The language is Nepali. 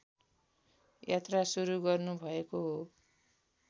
यात्रा सुरु गर्नुभएको हो